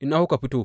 Ina kuka fito?